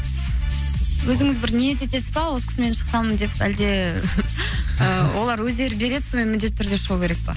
өзіңіз бір ниет етесіз ба осы кісімен шықсам деп әлде ы олар өздері береді сомен міндетті түрде шығу керек па